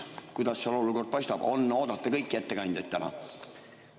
Kuidas olukord paistab, kas on oodata kõiki ettekandjaid täna?